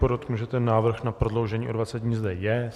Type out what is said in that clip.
Podotknu, že ten návrh na prodloužení o 20 dní zde je.